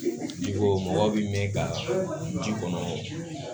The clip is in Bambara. Jiko mɔgɔ bɛ min ka ji kɔnɔ